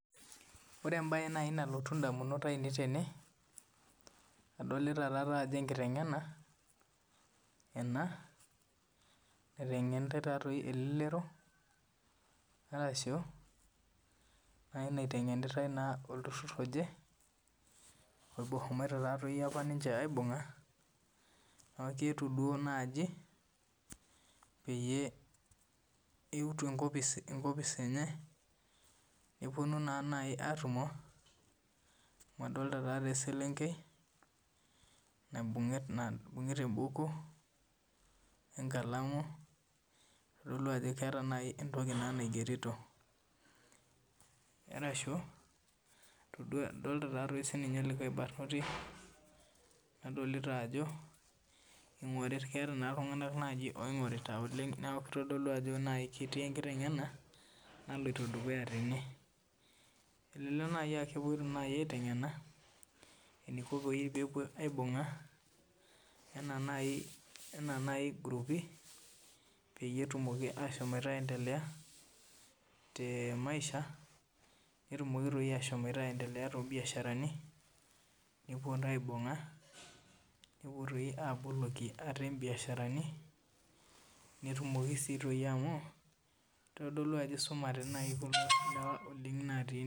Ore embae nalotu edamunot ainei tene adolita Ajo enkiteng'ena ena naitengenitai taadoi elelero ashu naitengenitai olturur oje ohomoite apa ninche aibung'a neeku keetuo naaji peyie etuo enkopis enye nepuonu naaji atumo amu adolita eselenkei naibungieta ebukui wee nkalamu kitodolu Ajo keeta naaji entoki naigerito arashu edolita likae barnoti nadolita Ajo keeta iltung'ana naaji oingorita oleng neeku kitodolu Ajo naaji ketii enkiteng'ena naloito dukuya tene elelek aa kepuoito naaji aiteng'ena enikoo naaji pee epuo aibung'a ena naaji guruupi peyie etum ashom aendelea tee maisha netumoki ashom aendelea too biasharani nepuo aibung'a nepuo doi aboloki ate biasharani netumoki sii amu eitodolu Ajo eisumare naaji iltung'ana otii ine